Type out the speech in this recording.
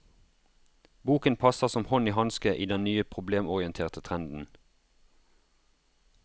Boken passer som hånd i hanske i den nye problemorienterte trenden.